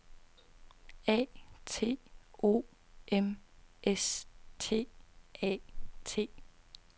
A T O M S T A T